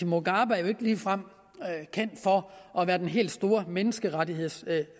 mugabe er jo ikke ligefrem kendt for at være den helt store menneskerettighedsfortaler